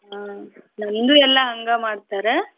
ಹಾ ಮಂದ್ಯು ಎಲ್ಲಾ ಹಂಗ ಮಾಡ್ತಾರ?